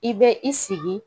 I bɛ i sigi